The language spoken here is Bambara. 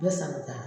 U bɛ san bɛ taa